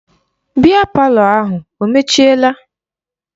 Biya palọ ahụ o mechiela?